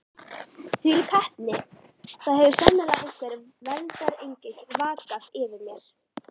Þvílík heppni: það hefur sannarlega einhver verndarengill vakað yfir mér.